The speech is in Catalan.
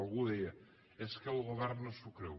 algú deia és que el govern no s’ho creu